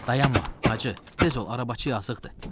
Dayanma, hacı, tez ol, arabacı yazıqdır.